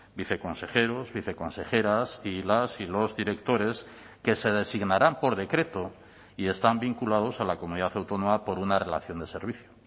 viceconsejeros viceconsejeras y las y los directores que se designarán por decreto y están vinculados a la comunidad autónoma por una relación de servicio